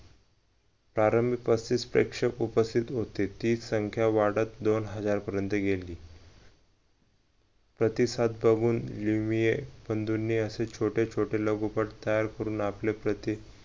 कारण पस्तीस प्रेक्षक उपस्थित होते तीच संख्या वाढत दोन हजार पर्यंत गेली प्रतिसाद बघून बंधूनी असे छोटे छोटे लगोपाठ तयार करून आपले प्रति